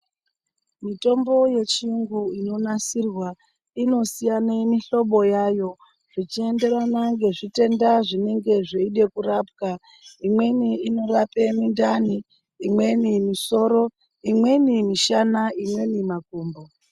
Mitombo yechiyungu inonasirwa inosiyana muhlobo yayo, zvechienderana nezvitenda zvinenge zvichida kurapwa. Imweni inorape mindani, imweni misoro, imweni mishana, imweni makumbo.